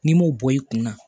N'i m'o bɔ i kunna